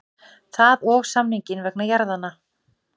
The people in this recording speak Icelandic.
Það og samninginn vegna jarðanna.